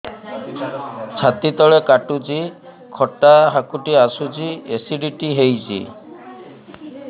ଛାତି ତଳେ କାଟୁଚି ଖଟା ହାକୁଟି ଆସୁଚି ଏସିଡିଟି ହେଇଚି